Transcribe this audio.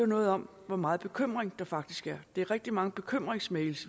noget om hvor meget bekymring der faktisk er vi får rigtig mange bekymringsmails